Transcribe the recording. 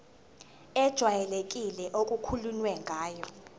ejwayelekile okukhulunywe ngayo